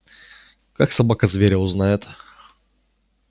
как собака зверя узнает